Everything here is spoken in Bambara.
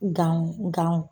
Ganw ganw